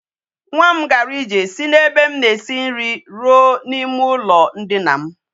Nwa m gara ije si na ebe m na esi nri ruo na ime ulo ndina m